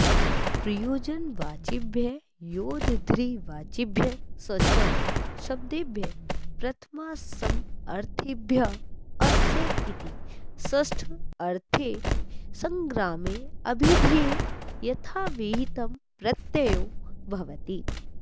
प्रयोजनवाचिभ्यः योद्धृवाचिभ्यश्च शब्देभ्यः प्रथमासमर्थेभ्यः अस्य इति षष्ठ्यर्थे सङ्ग्रामे ऽभिधेये यथाविहितं प्रत्ययो भवति